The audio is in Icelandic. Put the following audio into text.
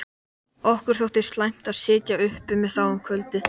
Okkur þótti slæmt að sitja uppi með þá um kvöldið.